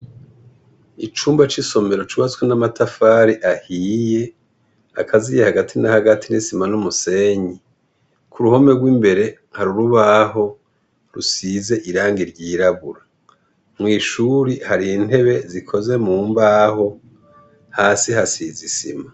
icumba c' isomero cubatswe n' amatafari ahiye akaziye hagati na hagati n' isima n' umusenyi kuruhome rwimbere hari urubaho rusize irangi ryirabura mwishure hari intebe zikoze mumbaho hasi hasize isima.